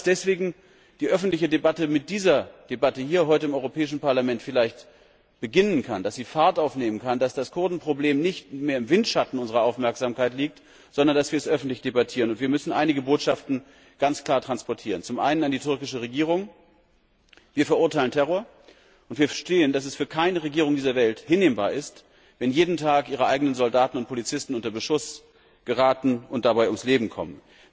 Ich glaube, dass deswegen die öffentliche Debatte mit dieser Debatte heute hier im Europäischen Parlament vielleicht beginnen kann, dass sie Fahrt aufnehmen kann, dass das Kurdenproblem nicht mehr im Windschatten unserer Aufmerksamkeit liegt, sondern dass wir es öffentlich debattieren. Wir müssen einige Botschaften ganz klar transportieren. Zum einen an die türkische Regierung Wir verurteilen Terror, und wir verstehen, dass es für keine Regierung dieser Welt hinnehmbar ist, wenn jeden Tag ihre eigenen Soldaten und Polizisten unter Beschuss geraten und dabei ums Leben kommen.